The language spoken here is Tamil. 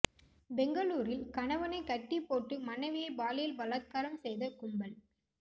பெங்களூரில் கணவனை கட்டி போட்டு மனைவியை பாலியல் பலாத்காரம் செய்த கும்பல்